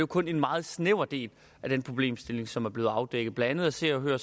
kun en meget snæver del af den problemstilling som er blevet afdækket blandt andet af se og hør